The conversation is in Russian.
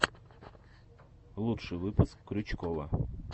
лучший выпуск крючкова